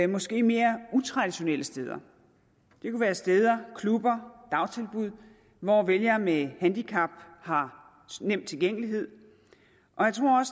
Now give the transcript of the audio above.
måske mere utraditionelle steder det kunne være steder klubber dagtilbud hvor vælgere med handicap har nem tilgængelighed og jeg tror